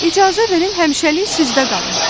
İcazə verin həmişəlik sizdə qalım.